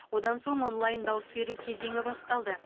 одан соң онлайн дауыс беру кезеңі басталды